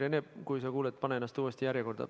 Rene, kui sa kuuled, pane ennast uuesti järjekorda.